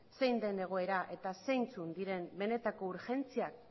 zein den egoera eta zeintzuk diren benetako urgentziak